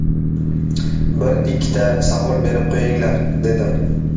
Bir-ikkita savol berib qo‘yinglar, dedim.